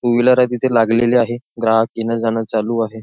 To wheeler आहे तिथे लागलेली आहे ग्राहक येणं जाणं चालू आहे.